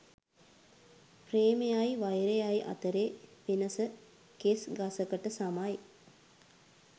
ප්‍රේමයයි වෛරයයි අතරේ වෙනස කෙස් ගසකට සමයි